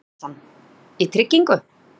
Axel Jónsson:.í tryggingu?